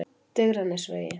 Digranesvegi